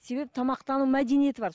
себебі тамақтану мәдениеті бар